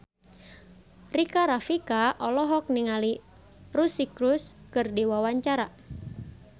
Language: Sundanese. Rika Rafika olohok ningali Suri Cruise keur diwawancara